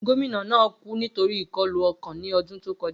Gomina naa ku nitori ikọlu ọkan ni ọdun to kọja.